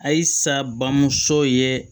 Ayisa bamuso ye